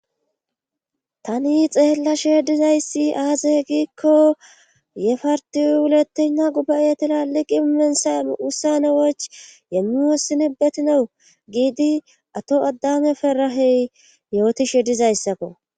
Tani xeellashe dizayssi aazehe giikko yefartiuletena guba7yetilaliqi imensa ussane woch yemmi wossini betinawu giidi ato addane ferahey yootishe dizayssakko.